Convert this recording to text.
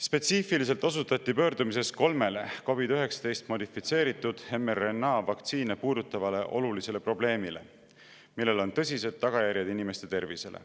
Spetsiifiliselt osutati pöördumises kolmele COVID‑19 modifitseeritud mRNA vaktsiine puudutavale olulisele probleemile, millel on tõsised tagajärjed inimeste tervisele.